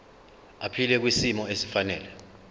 aphile kwisimo esifanele